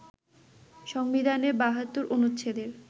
সংবিধানের ৭২ অনুচ্ছেদের